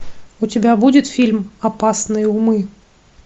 у тебя будет фильм опасные умы